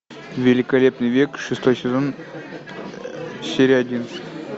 великолепный век шестой сезон серия один